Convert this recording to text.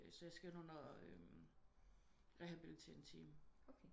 Så jeg skal ind under rehabiliteringsteam